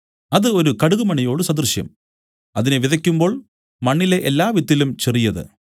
അത് ഒരു കടുകുമണിയോട് സദൃശം അതിനെ വിതയ്ക്കുമ്പോൾ മണ്ണിലെ എല്ലാവിത്തിലും ചെറിയത്